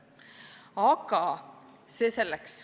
Aga see selleks.